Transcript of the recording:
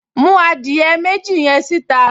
Mú adìẹ méjì yẹn síta